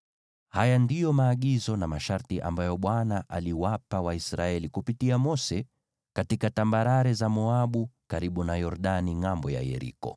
Haya ndiyo maagizo na masharti ambayo Bwana aliwapa Waisraeli kupitia Mose katika tambarare za Moabu, karibu na Yordani ngʼambo ya Yeriko.